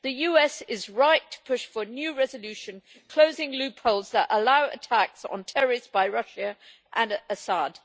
The US is right to push for a new resolution closing loopholes that allow attacks on terrorists by Russia and Assad.